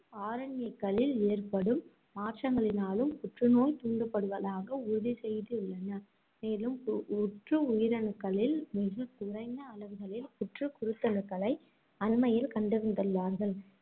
RNA க்களில் ஏற்படும் மாற்றங்களினாலும் புற்று நோய் தூண்டுப்படுவதாக உறுதி செய்துள்ளன. மேலும் பு~ உற்று உயிரணுக்களில் மிக குறைந்த அளவுகளில் புற்று குருத்தணுக்களை அண்மையில் கண்டறிந்துள்ளார்கள்.